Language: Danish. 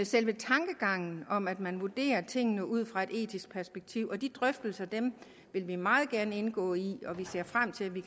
selve tankegangen om at man vurderer tingene ud fra et etisk perspektiv de drøftelser vil vi meget gerne indgå i og vi ser frem til at vi